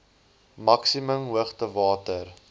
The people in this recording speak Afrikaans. maksimum hoogte water